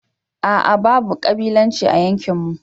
ah ah babu kabilanci a yankinmu.